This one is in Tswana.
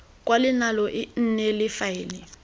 kwalelano e nne le faele